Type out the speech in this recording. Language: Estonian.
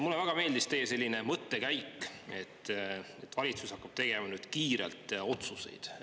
Mulle väga meeldis teie mõttekäik, et valitsus hakkab tegema nüüd kiirelt otsuseid.